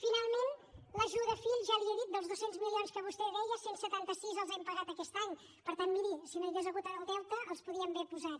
finalment l’ajuda a fill ja li ho he dit dels dos cents milions que vostè deia cent i setanta sis els hem pagat aquest any per tant miri si no hi hagués hagut el deute els podríem haver posat